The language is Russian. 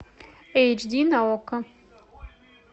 эйч ди на окко